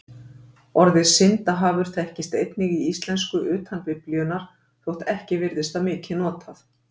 Orðið syndahafur þekkist einnig í íslensku utan Biblíunnar þótt ekki virðist það mikið notað.